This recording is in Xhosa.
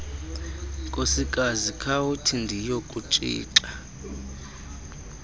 nkosikazi khawuthi ndiyokutshixa